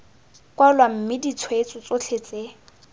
kwalwa mme ditshweetso tsotlhe tse